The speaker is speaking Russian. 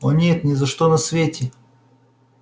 о нет ни за что на свете